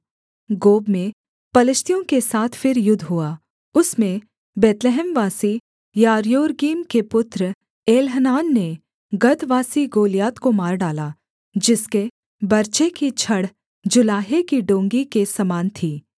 गोब में पलिश्तियों के साथ फिर युद्ध हुआ उसमें बैतलहमवासी यारयोरगीम के पुत्र एल्हनान ने गतवासी गोलियत को मार डाला जिसके बर्छे की छड़ जुलाहे की डोंगी के समान थी